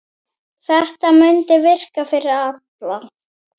Þetta mundi virka fyrir alla.